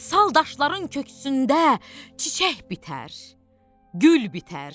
Sal daşların köksündə çiçək bitər, gül bitər.